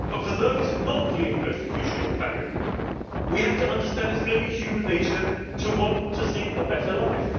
from. For those not fully in persecution or famine, we have to understand that it is only human nature to want to seek a better